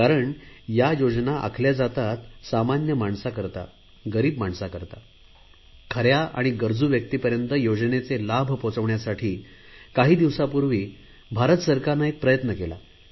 कारण या योजना आखल्या जातात सामान्य माणसाकरता गरीब माणसा करता खऱ्या आणि गरजू व्यक्तीपर्यंत योजनेचे लाभ पोहोचवण्यासाठी काही दिवसांपूर्वी भारत सरकारने एक प्रयत्न केला